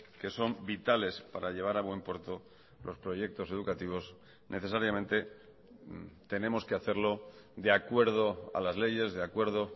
que son vitales para llevar a buen puerto los proyectos educativos necesariamente tenemos que hacerlo de acuerdo a las leyes de acuerdo